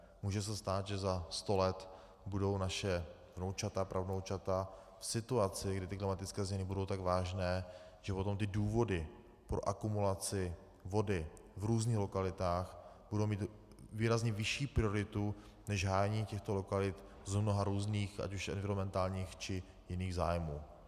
Může se stát, že za sto let budou naše vnoučata, pravnoučata v situaci, kdy ty klimatické změny budou tak vážné, že potom ty důvody pro akumulaci vody v různých lokalitách budou mít výrazně vyšší prioritu než hájení těchto lokalit z mnoha různých, ať už environmentálních, či jiných zájmů.